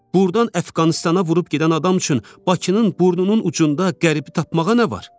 Burdan Əfqanıstana vurub gedən adam üçün Bakının burnunun ucunda qərbi tapmağa nə var?